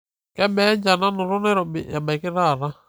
kebaa enchan nanoto nairobi ebaiki taata